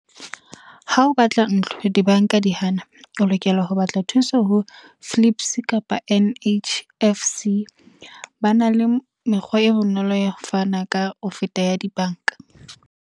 Ha o batla ntlo, dibanka di hana. O lokela ho batla thuso ho Flips kapa N_H_F_C. Ba na le mekgwa e bonolo, ya fana ka ho feta ya dibanka.